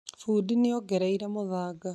Fundi nĩ ongereire mũthanga